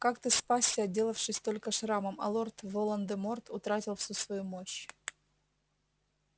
как ты спасся отделавшись только шрамом а лорд волан-де-морт утратил всю свою мощь